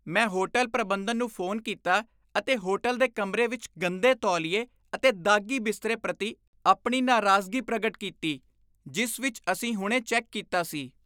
ਮੈਂ ਹੋਟਲ ਪ੍ਰਬੰਧਨ ਨੂੰ ਫੋਨ ਕੀਤਾ ਅਤੇ ਹੋਟਲ ਦੇ ਕਮਰੇ ਵਿੱਚ ਗੰਦੇ ਤੌਲੀਏ ਅਤੇ ਦਾਗ਼ੀ ਬਿਸਤਰੇ ਪ੍ਰਤੀ ਆਪਣੀ ਨਾਰਾਜ਼ਗੀ ਪ੍ਰਗਟ ਕੀਤੀ ਜਿਸ ਵਿੱਚ ਅਸੀਂ ਹੁਣੇ ਚੈੱਕ ਕੀਤਾ ਸੀ।